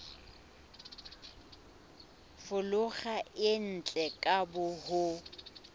folaga e ntle ka ho